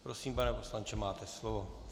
Prosím, pane poslanče, máte slovo.